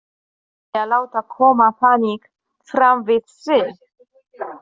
Enginn vill láta koma þannig fram við sig.